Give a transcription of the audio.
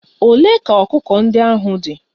Ole ka ọkụkọ ndị ahụ dị?